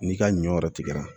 N'i ka ɲɔ yɛrɛ tigɛra